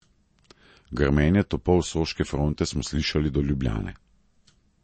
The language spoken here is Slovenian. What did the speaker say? Grmenje topov s soške fronte smo slišali do Ljubljane.